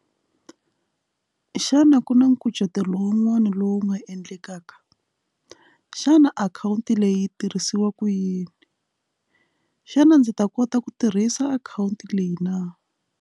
Xana ku na nkucetelo wun'wana lowu nga endlekaka xana akhawunti leyi tirhisiwaka yini xana ndzi ta kota ku tirhisa akhawunti leyi na.